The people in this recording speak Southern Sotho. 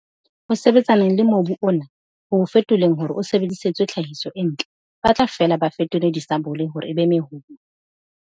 Ho sebetsaneng le mobu ona, ho o fetoleng hore o sebedisetswe tlhahiso e ntle, ba tla fela ba fetole disabole hore e be mehoma.